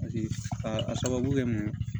Paseke a sababu kɛ mun ye